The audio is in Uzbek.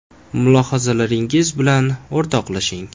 Mulohazalaringiz bilan o‘rtoqlashing.